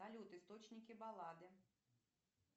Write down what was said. салют источники баллады